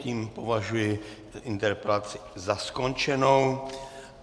Tím považuji interpelaci za skončenou.